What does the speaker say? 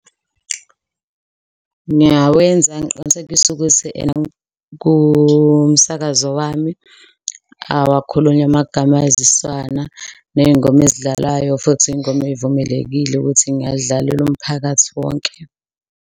Ngiyawenza ngiqinisekise ukuthi ena kumsakazo wami awakhulunywa amagama ayizisana, ney'ngoma ezidlalayo futhi iy'ngoma ey'vumelekile ukuthi ngingayidlalela umphakathi wonke.